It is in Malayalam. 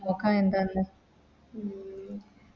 നോക്ക എന്താന്ന്